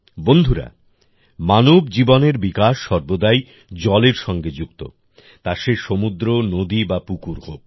বন্ধুরা মানব জীবনের বিকাশ সর্বদাই জলের সঙ্গে যুক্ত তা সে সমুদ্র নদী বা পুকুর হোক